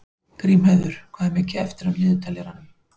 Grímheiður, hvað er mikið eftir af niðurteljaranum?